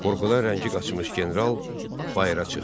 Qorxudan rəngi qaçmış general bayıra çıxdı.